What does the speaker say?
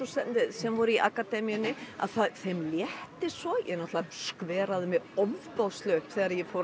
sem voru í akademíunni að þeim létti svo ég náttúrulega skveraði mig ofboðslega upp þegar ég fór